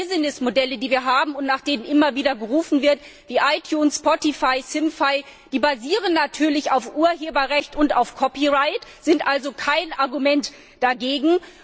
Die neuen Business Modelle, die wir haben und nach denen immer wieder gerufen wird, wie iTunes, Spotify, Simfy, die basieren natürlich auf dem Urheberrecht und auf Copyright, sind also kein Argument dagegen.